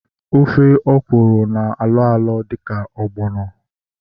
Ofe ọkwụrụ na-alọ alọ dịka ọgbọnọ